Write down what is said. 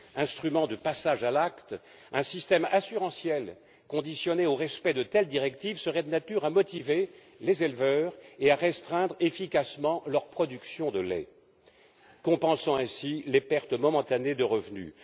Instrument de passage à l'acte, un système assurantiel conditionné au respect de telles directives serait de nature à motiver les éleveurs et à restreindre efficacement leur production de lait, ce qui compenserait les pertes momentanées de revenus.